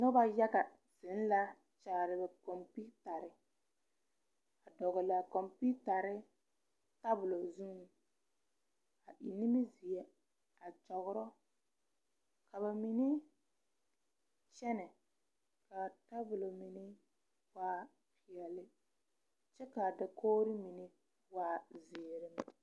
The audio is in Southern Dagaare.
Noba yaga zeŋ la kyaare ba kompiitarre, a dɔgle a kompiitare tabolɔ zuŋ ka eŋ nimizeɛ a kygog ka ba mine kyɛne kaa tabolɔ mine waa peɛle kyɛ kaa dakogri mine waa ziiri.